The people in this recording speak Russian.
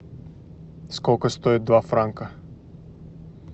сколько стоит два франка